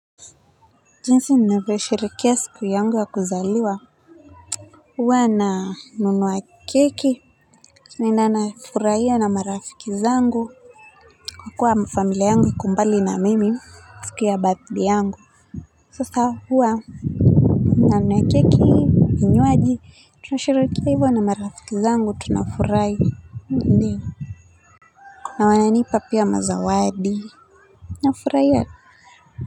Jinsi ninavyosherehekea siku yangu ya kuzaliwa huwa na nunua keki naenda nafurahia na marafiki zangu na kuwa familia yangu iko mbali na mimi siku ya birthday yangu sasa huwa na nunua keki vinywaji tunasherekea hivyo na marafiki zangu tunafurahi ndiyo na wananipa pia mazawadi nafurahia.